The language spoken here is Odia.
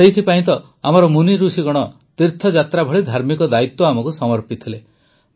ସେଥିପାଇଁ ତ ଆମର ୠଷିମୁନିଗଣ ତୀର୍ଥଯାତ୍ରା ଭଳି ଧାର୍ମିକ ଦାୟିତ୍ୱ ଆମକୁ ସମର୍ପିଥିଲେ